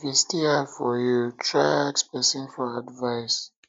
if e still hard for yu try ask pesin for advice